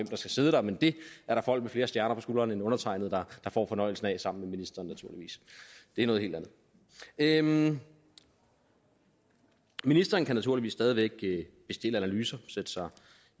der skal sidde der men det er der folk med flere stjerner på skuldrene end undertegnede der får fornøjelsen af sammen med ministeren naturligvis det er noget helt andet ministeren kan naturligvis stadig væk bestille analyser sætte sig